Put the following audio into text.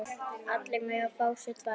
Allir mega fá sér tvær.